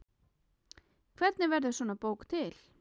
Hvernig verður svona bók til?